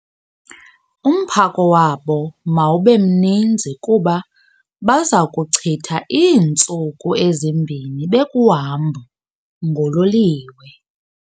Umphako wabo mawube mninzi kuba baza kuchitha iintsuku ezimbini bekuhambo ngololiwe.